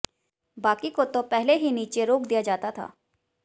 बाकी को तो पहले ही नीचे रोक दिया जाता था